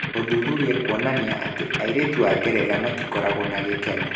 Ũthuthuria kuonania atĩ airĩtu a Ngeretha matikoragwo na gĩkeno.